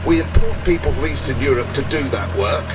We import people from Eastern Europe to do that work.